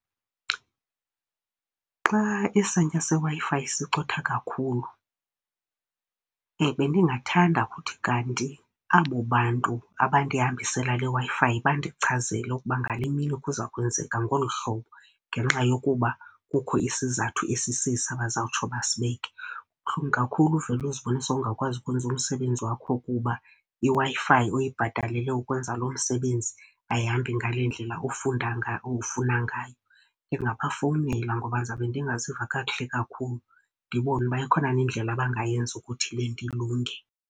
Xa isantya seWi-Fi sicotha kakhulu, bendingathanda kuthi kanti abo bantu abandihambisela leWi-Fi bandichazele ukuba ngale mini kuza kwenzeka ngolu hlobo ngenxa yokuba kukho isizathu esisesi abazawutsho basibeke. Kubuhlungu kakhulu uvele uzibone sowungakwazi ukwenza umsebenzi wakho kuba iWi-Fi uyibhatalele ukwenza loo msebenzi ayihambi ngalendlela ufunda ufuna ngayo. Ndingabafowunela ngoba ndizawube ndingaziva kakuhle kakhulu, ndibone uba ikhona na indlela abangayenza ukuthi le nto ilunge.